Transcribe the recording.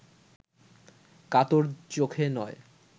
কাতর চোখে নয়